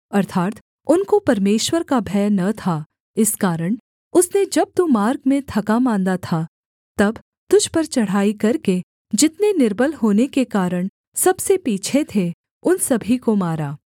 अर्थात् उनको परमेश्वर का भय न था इस कारण उसने जब तू मार्ग में थकामाँदा था तब तुझ पर चढ़ाई करके जितने निर्बल होने के कारण सबसे पीछे थे उन सभी को मारा